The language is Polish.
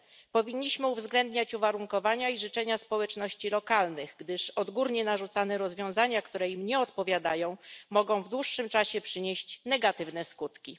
Powinniśmy uwzględniać uwarunkowania i życzenia społeczności lokalnych, gdyż odgórnie narzucane rozwiązania, które im nie odpowiadają, mogą w dłuższym czasie przynieść negatywne skutki.